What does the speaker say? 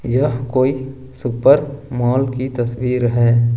यह कोई super mall की तस्वीर है।